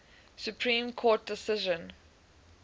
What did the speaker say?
supreme court decision